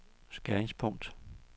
skæringspunkt